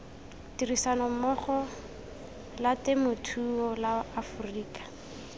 tirisanommogo la temothuo la aforika